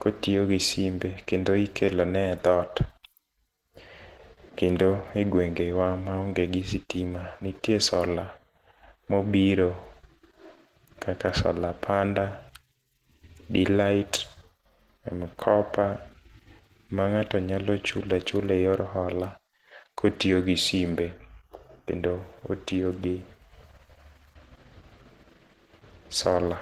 kotiyo gi simbe kendo ikelo ne e dhoot. Kendo e gwengewa maonge gi sitima ntie sola mobiro kaka sola panda, de-light mkopa, ma ng'ato nyalo chula chula e yor hola kotiyo gi simbe kendo otiyo gi sola.